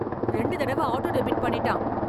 ரெண்டு தடவை auto debit பண்ணிட்டான்